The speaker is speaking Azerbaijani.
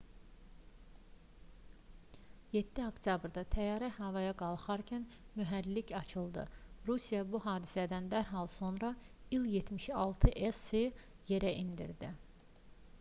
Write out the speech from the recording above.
7 oktyabrda təyyarə havaya qalxarkən mühərriki açıldı. rusiya bu hadisədən dərhal sonra i̇l-76s-i yerə endirdi